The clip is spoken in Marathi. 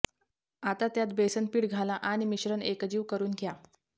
आता त्यात बेसन पीठ घाला आणि मिश्रण एकजीव करून घ्या